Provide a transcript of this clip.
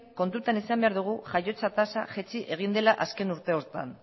kontuan izan behar dugu jaiotza tasa jaitsi egin dela azken urteotan